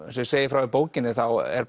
eins og ég segi frá í bókinni þá er